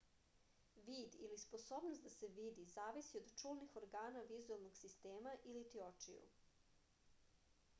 vid ili sposobnost da se vidi zavisi od čulnih organa vizuelnog sistema iliti očiju